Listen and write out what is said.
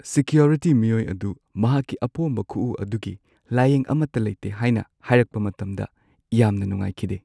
Security ꯃꯤꯑꯣꯏ ꯑꯗꯨ ꯃꯍꯥꯛꯀꯤ ꯑꯄꯣꯝꯕ ꯈꯨ ꯑꯗꯨꯒꯤ ꯂꯥꯌꯦꯡ ꯑꯃꯠꯇ ꯂꯩꯇꯦ ꯍꯥꯏꯅ ꯍꯥꯏꯔꯛꯄ ꯃꯇꯝꯗ ꯌꯥꯝꯅ ꯅꯨꯡꯉꯥꯏꯈꯤꯗꯦ꯫